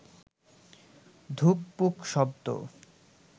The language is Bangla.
ধুকপুক শব্দ